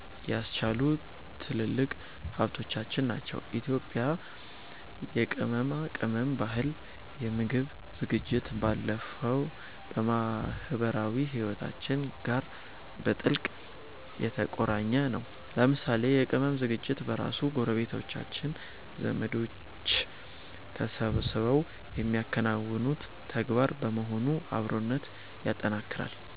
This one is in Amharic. ያስቻሉ ትልልቅ ሀብቶቻችን ናቸው። የኢትዮጵያ የቅመማ ቅመም ባህል ከምግብ ዝግጅት ባለፈ ከማኅበራዊ ሕይወታችን ጋር በጥብቅ የተቆራኘ ነው። ለምሳሌ የቅመም ዝግጅት በራሱ ጎረቤቶችና ዘመዶች ተሰባስበው የሚያከናውኑት ተግባር በመሆኑ አብሮነትን ያጠናክራል።